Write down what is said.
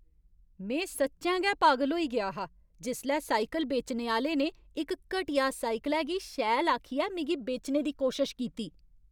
में सच्चैं गै पागल होई गेआ हा जिसलै साइकल बेचने आह्‌ले ने इक घटिया साइकलै गी शैल आखियै मिगी बेचने दी कोशश कीती ।